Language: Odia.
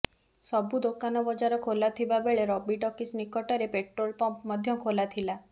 ସବୁ ଦୋକାନ ବଜାର ଖୋଲା ଥିବା ବେଳେ ରବି ଟକିଜ୍ ନିକଟରେ ପେଟ୍ରୋଲ ପମ୍ପ ମଧ୍ୟ ଖୋଲାଥିଲା